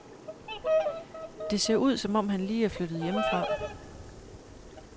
Det ser ud, som om han lige er flyttet hjemmefra.